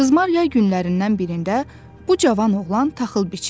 Qızmar yay günlərindən birində bu cavan oğlan taxıl biçirdi.